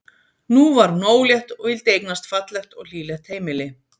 Nú var hún ólétt og vildi eignast fallegt og hlýlegt heimili.